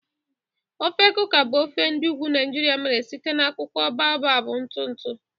Ofe Kuka bụ ofe ndi ugwu Naijiria mere site na akwụkwọ baobab ntụ ntụ.